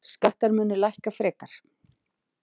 Skattar munu lækka frekar.